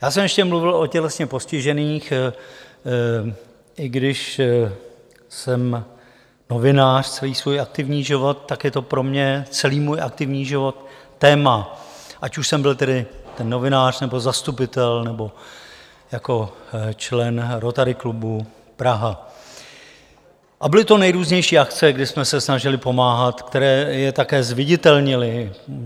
Já jsem ještě mluvil o tělesně postižených, i když jsem novinář celý svůj aktivní život, tak je to pro mě, celý můj aktivní život, téma, ať už jsem byl tedy ten novinář, nebo zastupitel, nebo jako člen Rotary klubu Praha, a byly to nejrůznější akce, kdy jsme se snažili pomáhat, které je také zviditelnily.